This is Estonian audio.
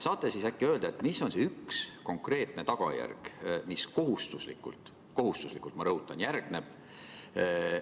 Saate äkki öelda, mis on see üks konkreetne tagajärg, mis kohustuslikult – kohustuslikult, ma rõhutan – järgneb?